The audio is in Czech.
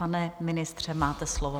Pane ministře, máte slovo.